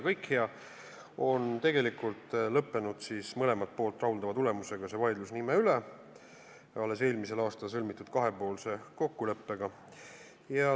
See vaidlus nime üle on lõppenud mõlemat poolt rahuldava tulemusega, alles eelmisel aastal sõlmitud kahepoolse kokkuleppega.